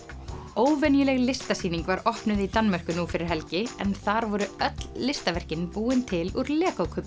óvenjuleg listasýning var opnuð í Danmörku nú fyrir helgi en þar voru öll listaverkin búin til úr